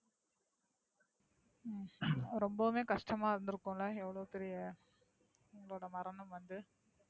ரொம்பவே கஷ்டமா இருந்துருக்கும்ல எவ்ளோ பெரிய இவங்களோட மரணம் வந்து.